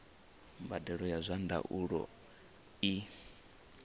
mbadelo ya zwa ndaulo i